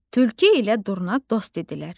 Tülkü ilə Durna dost idilər.